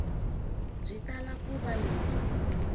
byi tala ku va lebyi